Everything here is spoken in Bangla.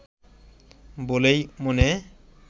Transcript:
বলেই মনে